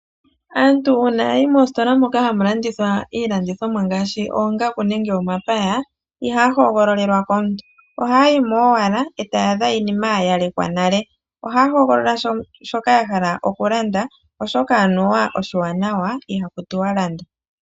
Aantu uuna yayi mositola moka hamu landithwa iilandithomwa ngaashi oongaku nenge omapaya, ihaa hogololelwa komuntu ohaayimo owala etayaadha iinima yayalekwa nale. Ohaa hogolola shoka yahala okulanda oshoka anuwa oshiwanawa ihaku tiwalanda.